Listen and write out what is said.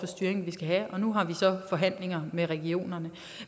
styring vi skal have og nu har vi så forhandlinger med regionerne